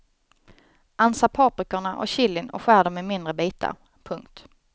Ansa paprikorna och chilin och skär dem i mindre bitar. punkt